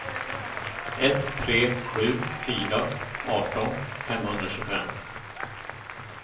ett tre sju fyra arton femhundratjugofem